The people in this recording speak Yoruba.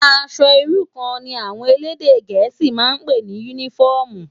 Aṣò irú kàn ni áwòn élédè gẹẹsi mà n pé ni unifòmú